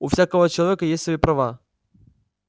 у всякого человека есть свои права